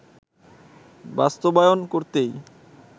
বাস্তবায়ন করতেই